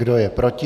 Kdo je proti?